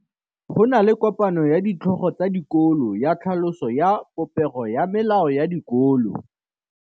Go na le kopanô ya ditlhogo tsa dikolo ya tlhaloso ya popêgô ya melao ya dikolo.